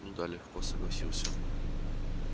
ну да легко согласился